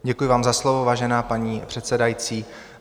Děkuji vám za slovo, vážená paní předsedající.